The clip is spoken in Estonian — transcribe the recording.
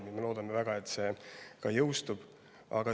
Me väga loodame, et see jõustub.